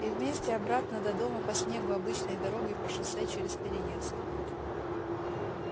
и вместе обратно до дома по снегу обычной дорогой по шоссе через переезд